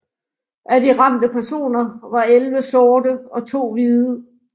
Af de ramte personer var elleve sorte og to hvide